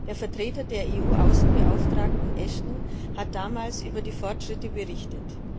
Der Vertreter der EU Außenbeauftragten Ashton hat damals über die Fortschritte berichtet.